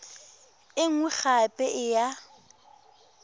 e nngwe gape e ya